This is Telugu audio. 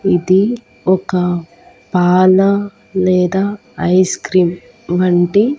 ఇది ఒక పాల లేదా ఐస్ క్రీమ్ వంటి.